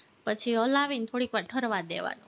પછી હલાવીને ઠરવા દેવાનું